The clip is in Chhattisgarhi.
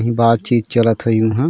बात चित चलत होही उहा --